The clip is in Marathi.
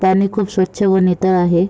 पाणी खूप स्वच्छ व नितळ आहे.